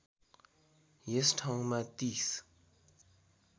यस ठाउँमा ३०